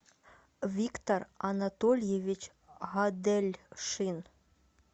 виктор анатольевич гадельшин